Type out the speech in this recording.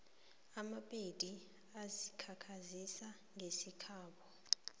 amapedi ayazikhakhazisa ngesikhabo